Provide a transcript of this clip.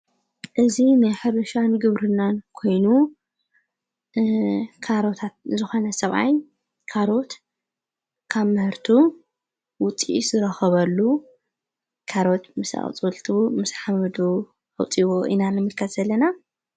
እዝ ንይኅርሻን ግብሩናን ኮይኑ ካሮታት ዞኾነ ሰብኣ ካሮት ካብ ምህርቱ ውጢ ስረኸበሉ ካሮት ምሳ ዊፅወልት ምስ ሓምዱ ኣውጢዎ ኢናለምካት ዘለና።